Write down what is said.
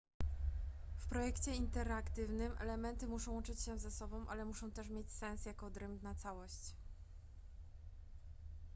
w projekcie interaktywnym elementy muszą łączyć się ze sobą ale muszą też mieć sens jako odrębna całość